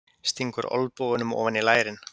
Stingur olnbogunum ofan í lærin.